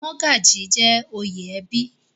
Mọ́gàjí jẹ́ oyè ẹbí.